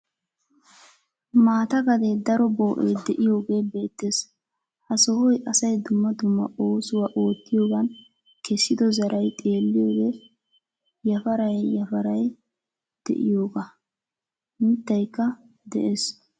Maata gade daro boo'ee de'iyogee beettees. Ha sohoy asay dumma dumma oosuwa oottiyogan kessiddo zaray xeeliyode yafaray yafaray de'iyogaa, mittaykka beettees.